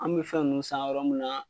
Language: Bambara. An bɛ fɛn ninnu san yɔrɔ mun na,